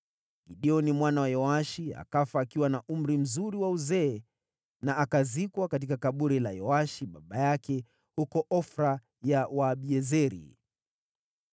Gideoni mwana wa Yoashi akafa akiwa na umri mzuri wa uzee, na akazikwa katika kaburi la Yoashi baba yake huko Ofra ya Waabiezeri.